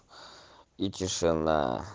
и тишина